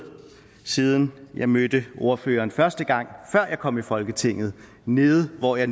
siden jeg mødte ordføreren første gang før jeg kom i folketinget nede hvor jeg